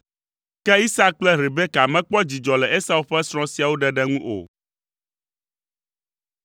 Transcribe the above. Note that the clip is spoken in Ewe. Ke Isak kple Rebeka mekpɔ dzidzɔ le Esau ƒe srɔ̃ siawo ɖeɖe ŋu o.